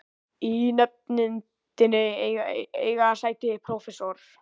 Í nefndinni eiga sæti prófessor